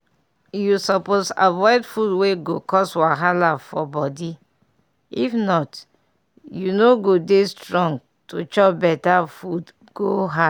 you suppose avoid food wey go cause wahala for body if not you no go dey strong to chop better food go hard.